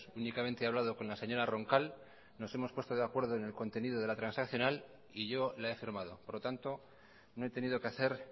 únicamente he hablado con la señora roncal nos hemos puesto de acuerdo en el contenido de la transaccional y yo la he firmado por lo tanto no he tenido que hacer